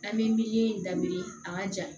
An bɛ miliyɔn in daminɛ a ka ja